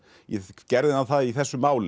gerði hann það í þessu máli